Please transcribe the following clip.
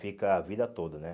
Fica a vida toda, né?